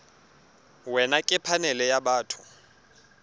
wena ke phanele ya batho